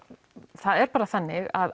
það er bara þannig að